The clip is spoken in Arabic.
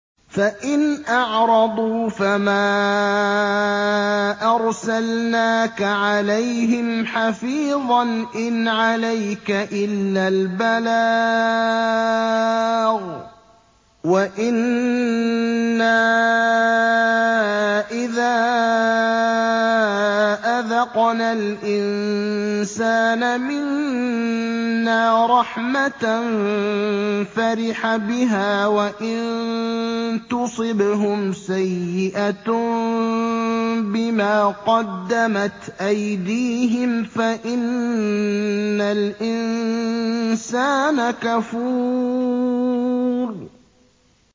فَإِنْ أَعْرَضُوا فَمَا أَرْسَلْنَاكَ عَلَيْهِمْ حَفِيظًا ۖ إِنْ عَلَيْكَ إِلَّا الْبَلَاغُ ۗ وَإِنَّا إِذَا أَذَقْنَا الْإِنسَانَ مِنَّا رَحْمَةً فَرِحَ بِهَا ۖ وَإِن تُصِبْهُمْ سَيِّئَةٌ بِمَا قَدَّمَتْ أَيْدِيهِمْ فَإِنَّ الْإِنسَانَ كَفُورٌ